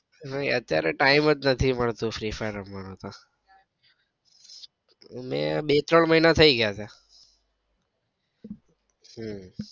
નઈ અત્યારે તો time જ નથી મળતો free fire રમવાનો તો મેં બે ત્રણ મહિના થઇ ગયા તા હમ